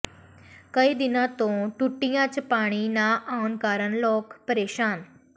ਕਈ ਦਿਨਾਂ ਤੋਂ ਟੂਟੀਆਂ ਚ ਪਾਣੀ ਨਾ ਆਉਣ ਕਾਰਨ ਲੋਕ ਪ੍ਰੇਸਾਨ